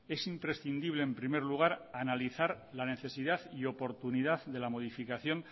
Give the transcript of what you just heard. es imprescindible en primer lugar analizar la necesidad y oportunidad de la modificación